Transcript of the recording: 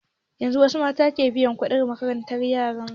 Yanzun wasu mata ke biyan kuɗin makaranta yaran su